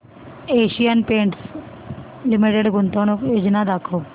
Asian Paints Limited गुंतवणूक योजना दाखव